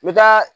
N bɛ taa